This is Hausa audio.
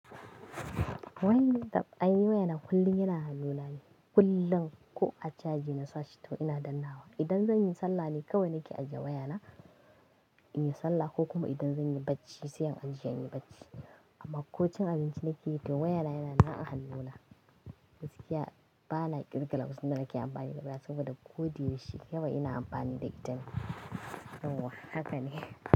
Way tab! Aini waya na kullum yana hannuna ne, kullum ko a caji na sashi to ina dannawa. Idan zan yi sallah ne kawai nake ajiye wayana in yi sallah ko kuma idan zan yi bacci sai in ajiye in yi bacci. Amma ko cin abinci nake yi to wayana yana nan a hannuna. Gaskiya bana ƙirga wasu na ke amfani da waya saboda ko da yaushe kawai ina amfani da ita ne. Yauwa haka ne.